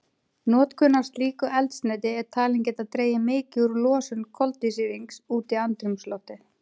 Notkun á slíku eldsneyti er talin geta dregið mikið úr losun koltvísýrings út í andrúmsloftið.